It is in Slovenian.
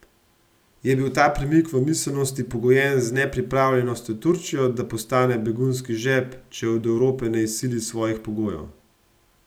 Je bil ta premik v miselnosti pogojen z nepripravljenostjo Turčije, da postane begunski žep, če od Evrope ne izsili svojih pogojev?